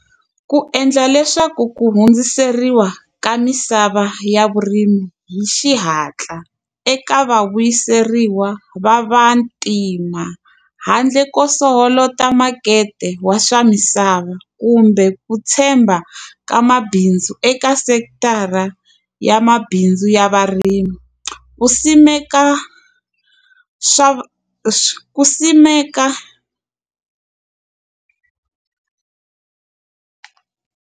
Ku endla leswaku ku hundziseriwa ka misava ya vurimi hi xihatla, eka va vuyiseriwa va vantima. Handle ko soholota makete wa swa misava kumbe ku tshemba ka mabindzu eka sekithara ya mabindzu ya varimi. Ku simeka swa ku simeka.